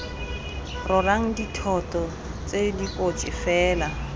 rorang dithoto tse dikotsi fela